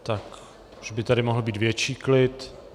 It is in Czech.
Tak už by tady mohl být větší klid.